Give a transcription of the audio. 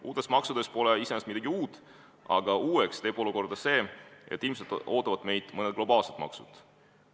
Uutes maksudes pole iseenesest midagi uut, aga uueks teeb olukorra see, et ilmselt ootavad meid ees mõned globaalsed maksud.